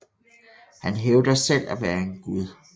Han hævder selv at være en gud